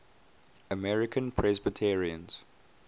american presbyterians